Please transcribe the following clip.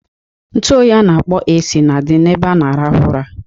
Ntu oyi a na-akpọ AC na-adị n'ebe a na-arahụ ụra.